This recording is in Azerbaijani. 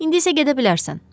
İndi isə gedə bilərsən.